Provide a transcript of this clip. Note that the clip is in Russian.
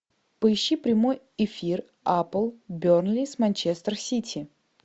поищи прямой эфир апл бернли с манчестер сити